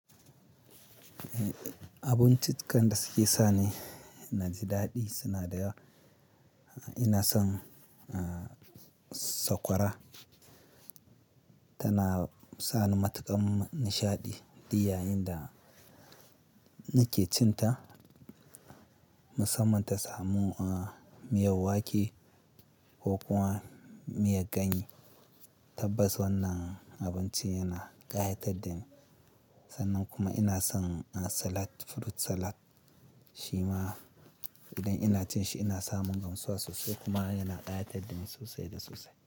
Abincicikan da suke sani na jidaɗi suna da yawa. Ina son sakwara tana sani matuƙar nishaɗi di yayin da nake cin ta musamman ta samu miyar wake ko kuma miyar ganye. Tabbas wannan abinci yana ƙayatar dani sannan kuma ina son salad, fruit salad shi ma idan ina cin shi ina samun gamsuwa sosai kuma yana ƙayatar dani sosai da sosai.